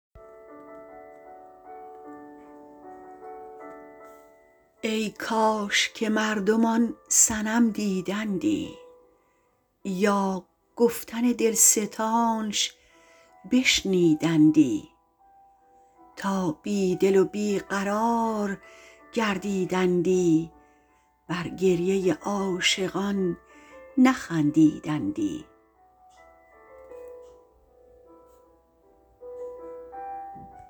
ای کاش که مردم آن صنم دیدندی یا گفتن دلستانش بشنیدندی تا بیدل و بیقرار گردیدندی بر گریه عاشقان نخندیدندی